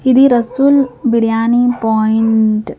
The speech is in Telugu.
ఇది రసూల్ బిర్యానీ పాయింట్.